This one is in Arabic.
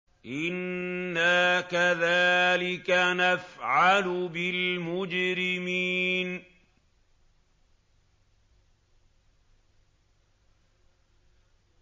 إِنَّا كَذَٰلِكَ نَفْعَلُ بِالْمُجْرِمِينَ